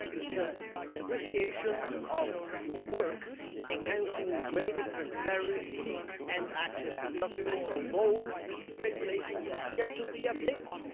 It's an appreciation of your work enhancing greater transparency and access to documents, although the regulation has yet to be updated.